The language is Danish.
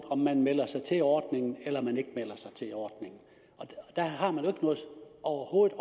om man melder sig til ordningen eller man ikke melder sig til ordningen der har man overhovedet